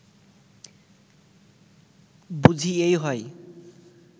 বুঝি এই হয়